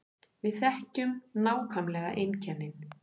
Við þekkjum nákvæmlega einkennin